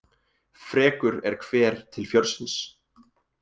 Frekur er hver til fjörsins.